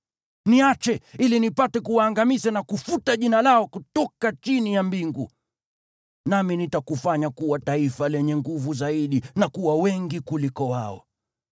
Niache, ili nipate kuwaangamiza na kufuta jina lao kutoka chini ya mbingu. Nami nitakufanya kuwa taifa lenye nguvu zaidi na kuwa wengi kuliko wao.”